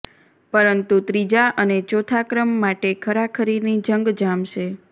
પરંતુ ત્રીજા અને ચોથા ક્રમ માટે ખરાખરીની જંગ જામશે